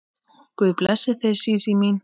Guð blessi þig Sísí mín.